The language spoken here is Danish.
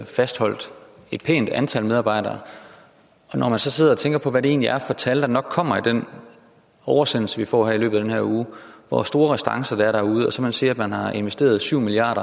fastholdt et pænt antal medarbejdere og når man så sidder og tænker på hvad det egentlig er for tal der nok kommer i den oversendelse vi får i løbet af den her uge og hvor store restancer der er derude og man så siger at man har investeret syv milliard